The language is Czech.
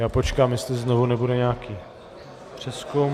Já počkám, jestli znovu nebude nějaký přezkum.